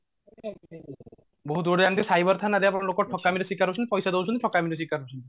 ବହୁତ ଥାନ୍ତି cyber ଥାନାରେ ଆମର ଲୋକ ଠକାମିର ଶିକାର ହଉଛନ୍ତି ପଇସା ଦଉଛନ୍ତି ଠକାମିର ଶିକାର ହଉଛନ୍ତି